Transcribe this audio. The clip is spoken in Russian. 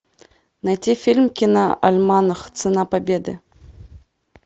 найти фильм киноальманах цена победы